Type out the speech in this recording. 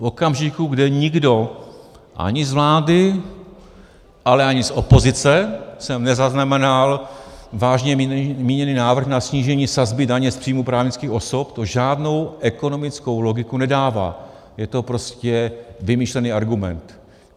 V okamžiku, kdy nikdo - ani z vlády, ale ani z opozice jsem nezaznamenal vážně míněný návrh na snížení sazby daně z příjmů právnických osob, to žádnou ekonomickou logiku nedává, je to prostě vymyšlený argument.